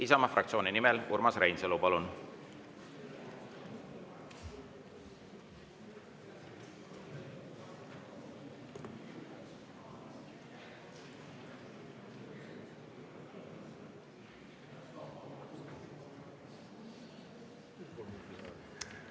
Isamaa fraktsiooni nimel Urmas Reinsalu, palun!